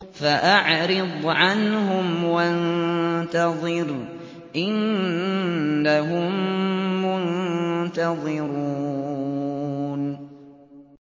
فَأَعْرِضْ عَنْهُمْ وَانتَظِرْ إِنَّهُم مُّنتَظِرُونَ